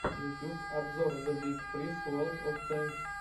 ютюб обзор зэ биг фриз ворлд оф тэнкс